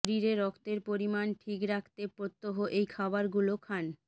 শরীরে রক্তের পরিমাণ ঠিক রাখতে প্রত্যহ এই খাবারগুলো খান